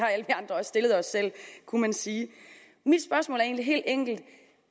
har stillet os selv kunne man sige mit spørgsmål er egentlig helt enkelt